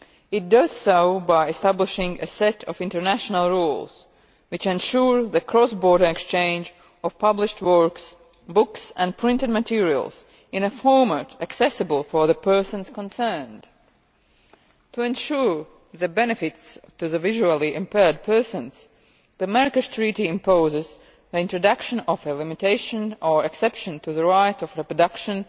It does so by establishing a set of international rules, which ensure the cross border exchange of published works, books and printed materials in a format accessible for the persons concerned. To ensure the benefits to visually impaired persons, the Marrakesh Treaty imposes the introduction of a limitation or exception to the right of reproduction,